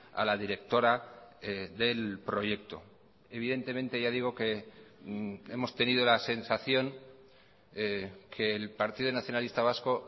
a la directora del proyecto evidentemente ya digo que hemos tenido la sensación que el partido nacionalista vasco